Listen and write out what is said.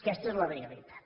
aquesta és la realitat